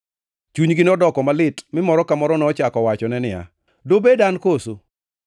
Chunygi nodoko malit, mi moro ka moro nochako wachone niya, “Dobed an koso?”